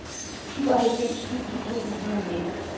syvoghalvfems tusind to hundrede og nitten